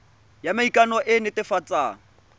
ya maikano e e netefatsang